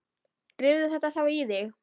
Drífðu þetta þá í þig.